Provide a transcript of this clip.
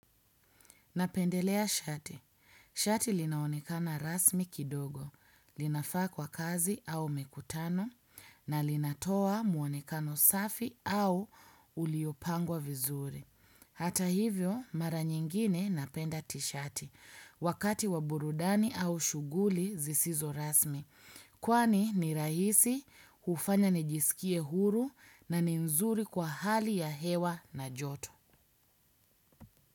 Napendelea shati. Shati lina onekana rasmi kidogo. Linafaa kwa kazi au mikutano na linatoa muonekano safi au uliopangwa vizuri. Hata hivyo mara nyingine napenda tishati wakati wa burudani au shuguli zisizo rasmi. Kwani ni rahisi hufanya nijisikie huru na ni nzuri kwa hali ya hewa na joto.